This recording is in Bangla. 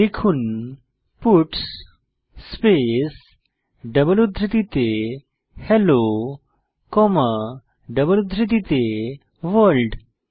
লিখুন পাটস স্পেস ডাবল উদ্ধৃতিতে হেলো কমা ডাবল উদ্ধৃতিতে ভোর্ল্ড